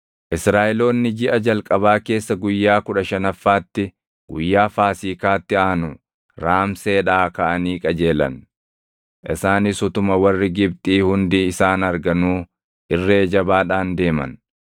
Israaʼeloonni jiʼa jalqabaa keessa guyyaa kudha shanaffaatti guyyaa Faasiikaatti aanu Raamseedhaa kaʼanii qajeelan. Isaanis utuma warri Gibxii hundi isaan arganuu irree jabaadhaan deeman;